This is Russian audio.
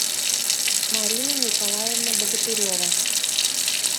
марина николаевна богатырева